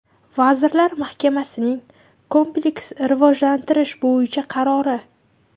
Vazirlar Mahkamasining kompleks rivojlantirish bo‘yicha qarori.